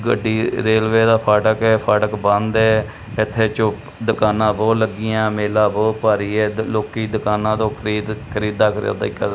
ਗੱਡੀ ਰੇਲਵੇ ਦਾ ਫਾਟਕ ਹੈ ਫਾਟਕ ਬੰਦ ਹੈ ਏੱਥੇ ਝੋਪ ਦੁਕਾਨਾਂ ਬੋਹੁਤ ਲੱਗੀਆਂ ਮੇਲਾ ਬੋਹੁਤ ਭਾਰੀ ਹੈ ਤੇ ਲੋਕੀਂ ਦੁਕਾਨਾਂ ਤੋਂ ਖਰੀਦ ਖਰੀਦਾਂ ਖਰਿਯੋਦਾਈ ਕਰ--